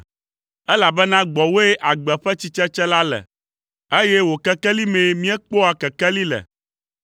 Elabena gbɔwòe agbe ƒe tsitsetse la le, eye wò kekeli mee míekpɔa kekeli le.